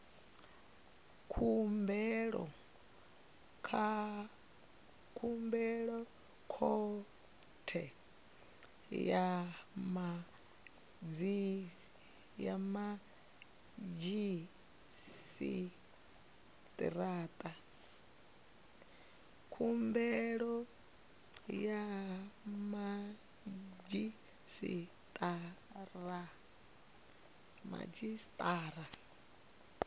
khumbelo khothe ya madzhisi ṱira